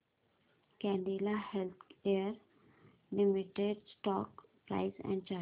Cadila healthcare limited stock price and chart